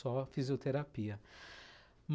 Só fisioterapia.